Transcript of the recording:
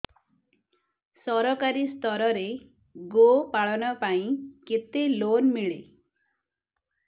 ସରକାରୀ ସ୍ତରରେ ଗୋ ପାଳନ ପାଇଁ କେତେ ଲୋନ୍ ମିଳେ